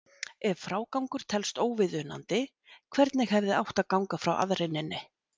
Ef frágangur telst óviðunandi, hvernig hefði átt að ganga frá aðreininni?